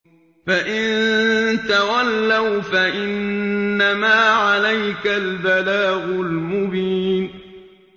فَإِن تَوَلَّوْا فَإِنَّمَا عَلَيْكَ الْبَلَاغُ الْمُبِينُ